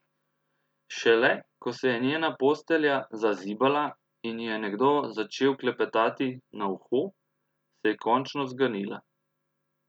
Šele ko se je njena postelja zazibala in ji je nekdo začel klepetati na uho, se je končno zganila.